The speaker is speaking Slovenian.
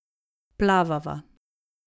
Plavava.